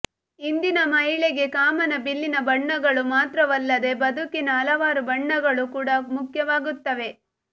ಇಂದಿನ ಮಹಿಳೆಗೆ ಕಾಮನಬಿಲ್ಲಿನ ಬಣ್ಣಗಳು ಮಾತ್ರವಲ್ಲದೇ ಬದುಕಿನ ಹಲವಾರು ಬಣ್ಣಗಳು ಕೂಡ ಮುಖ್ಯವಾಗುತ್ತವೆ